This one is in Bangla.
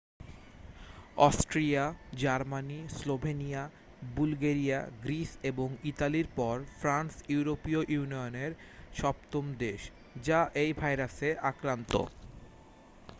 Austria Germany Slovenia Bulgaria Greece এবং ইতালির পর ফ্রান্স ইউরোপীয় ইউনিয়নের সপ্তম দেশ যা এই ভাইরাসে আক্রান্ত